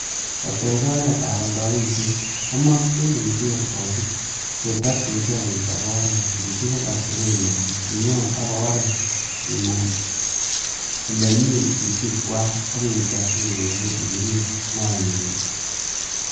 Ketech oretab oldoishiet, komochin iger kosiig che tokyinige, ichob oret ichigil atebenywan, inyon ak oret inam ele mi itikywak ak ichob tuyosiek irib noyengung.